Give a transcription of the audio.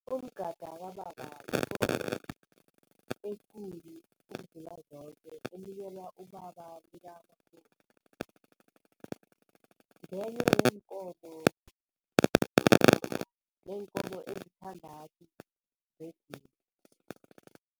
Umgada kababa yikomo ekulu ukudlula zoke enikelwa ubaba likamakoti, ngenye yeenkomo yeenkomo ezisithandathu zedini.